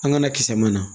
An ka na kisa mana